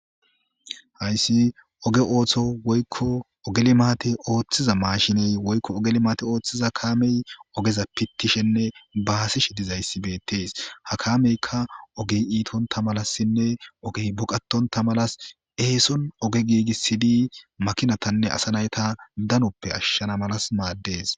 hayssi oge ooththo woykko oge limaate ooththiza maashiney woykko ogeli maate ooththiza kaamey ogeza pittishenne baasishi dizayssi beettees ha kameyka ogey iitontta malassinne ogey boqatonta malas eeson oge giigissidi makinatanne asa nayta danuppe ashshana malas maaddees